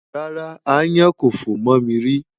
Rárá, aáyán kò fò mọ́ mi rí.